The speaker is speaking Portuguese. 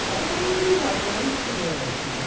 Eu tava no meio dos atores hã que já...